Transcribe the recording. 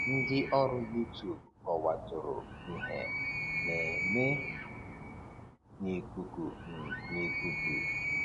Ńdị́ ọ́rụ́ Youtube kọ̀wàrà ìhè ná-émé n' ìkùkù um n' ìkùkù um